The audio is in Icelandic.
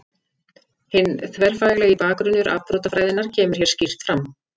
Hinn þverfaglegi bakgrunnur afbrotafræðinnar kemur hér skýrt fram.